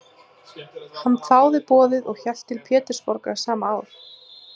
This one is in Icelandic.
Hann þáði boðið og hélt til Pétursborgar sama ár.